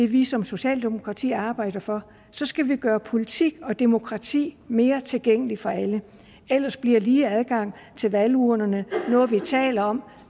vi som socialdemokrati arbejder for så skal vi gøre politik og demokrati mere tilgængeligt for alle ellers bliver lige adgang til valgurnerne noget vi taler om